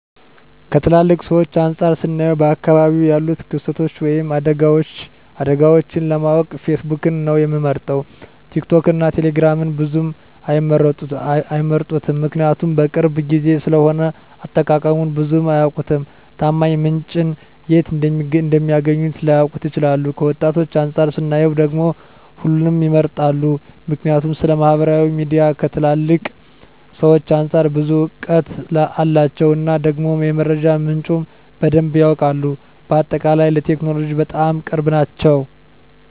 ከትላልቅ ሰዎች አንፃር ስናየው በአካባቢው ያሉትን ክስተቶች ወይም አደጋዎችን ለማወቅ ፌስቡክን ነው ሚመርጡት ቲክቶክን እና ቴሌግራምን ብዙም አይመርጡትም ምክንያቱም የቅርብ ጊዜ ስለሆነ አጠቃቀሙን ብዙም አያውቁትም፣ ታማኝ ምንጭን የት እንደሚያገኙት ላያውቁ ይችላሉ። ከወጣቶች አንፃር ስናየው ደግሞ ሁሉንም ይመርጣሉ ምክንያቱም ስለማህበራዊ ሚዲያ ከትላልቅ ሰዎች አንፃር ብዙ እውቀት አላቸው እና ደግሞ የመረጃ ምንጩም በደንብ ያውቃሉ። በአጠቃላይ ለቴክኖሎጂ በጣም ቅርብ ናቸው